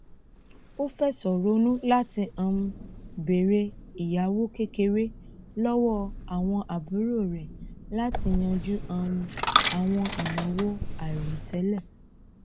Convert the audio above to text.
ó fẹsọ ronú látí um béèrè ẹyáwó kékeré lọwọ àwọn àbúrò rẹ latí yanjú um àwọn ìnáwó àìròtẹlẹ